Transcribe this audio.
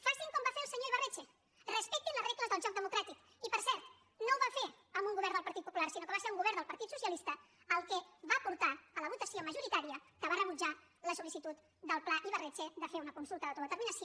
facin com va fer el senyor ibarretxe respectin les regles del joc democràtic i per cert no ho va fer amb un govern del partit popular sinó que va ser un govern del partit socialista el que va portar a la votació majoritària que va rebutjar la solpla ibarretxe de fer una consulta d’autodeterminació